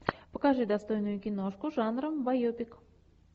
покажи достойную киношку жанра байопик